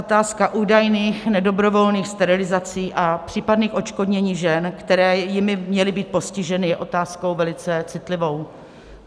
Otázka údajných nedobrovolných sterilizací a případných odškodnění žen, které jimi měly být postiženy, je otázkou velice citlivou.